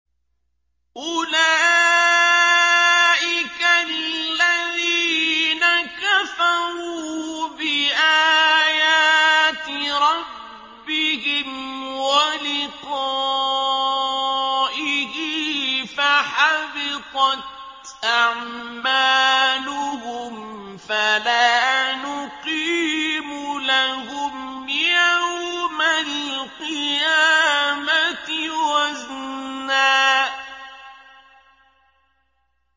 أُولَٰئِكَ الَّذِينَ كَفَرُوا بِآيَاتِ رَبِّهِمْ وَلِقَائِهِ فَحَبِطَتْ أَعْمَالُهُمْ فَلَا نُقِيمُ لَهُمْ يَوْمَ الْقِيَامَةِ وَزْنًا